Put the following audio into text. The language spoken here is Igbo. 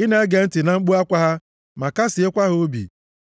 ị na-ege ntị na mkpu akwa ha ma kasịekwa ha obi,